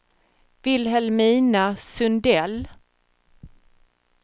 Vilhelmina Sundell